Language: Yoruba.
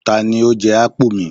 Tani ó jẹ ápù mi?